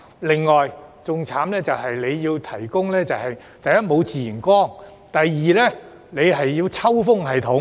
另外，更慘的是，第一，沒有自然光；第二，要設置抽風系統。